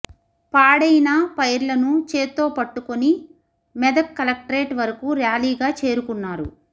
పాడైన పైర్లను చేత్తో పట్టుకొని మెదక్ కలెక్టరేట్ వరకు ర్యాలీగా చేరుకున్నారు